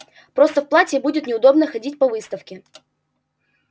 просто в платье будет неудобно ходить по выставке